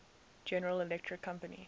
general electric company